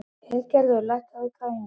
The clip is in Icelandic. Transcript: Hildigerður, lækkaðu í græjunum.